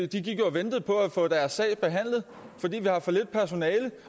de gik og ventede på at få deres sag behandlet fordi der er for lidt personale